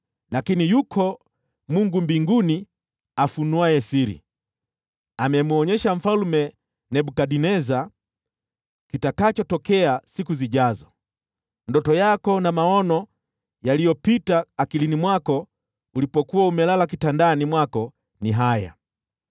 lakini yuko Mungu mbinguni afunuaye siri. Amemwonyesha Mfalme Nebukadneza kitakachotokea siku zijazo. Ndoto yako na maono yaliyopita mawazoni mwako ulipokuwa umelala kitandani mwako ni haya: